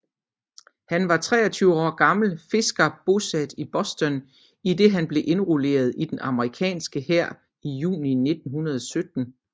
Han var 23 år gammel fisker bosat i Boston idet han blev indrulleret i den amerikanske hær i juni 1917